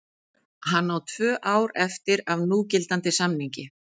Hann á tvö ár eftir af núgildandi samningi.